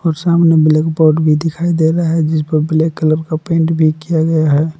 और सामने ब्लैकबोर्ड भी दिखाई दे रहा है। जिस पे ब्लैक कलर का पेंट भी किया गया है ।